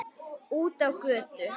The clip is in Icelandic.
Út á götu.